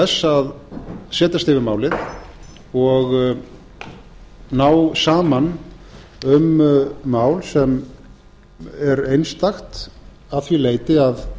þess að setjast yfir málið og ná saman um mál sem er einstakt að því leyti að